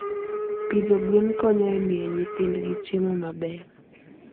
Pidho gwen konyo e miyo nyithindgi chiemo maber.